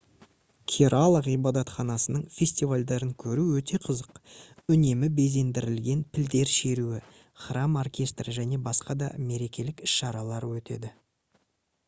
керала ғибадатханасының фестивальдерін көру өте қызық үнемі безендірілген пілдер шеруі храм оркестрі және басқа да мерекелік іс-шаралар өтеді